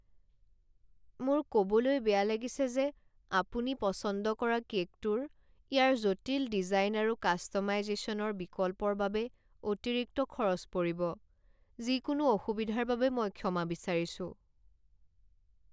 মোৰ ক'বলৈ বেয়া লাগিছে যে আপুনি পচন্দ কৰা কে'কটোৰ ইয়াৰ জটিল ডিজাইন আৰু কাষ্ট'মাইজেশ্যনৰ বিকল্পৰ বাবে অতিৰিক্ত খৰচ পৰিব। যিকোনো অসুবিধাৰ বাবে মই ক্ষমা বিচাৰিছো।